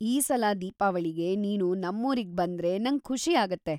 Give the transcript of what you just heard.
ಈ ಸಲ ದೀಪಾವಳಿಗೆ ನೀನು ನಮ್ಮೂರಿಗ್ ಬಂದ್ರೆ ನಂಗೆ ಖುಷಿ ಆಗತ್ತೆ.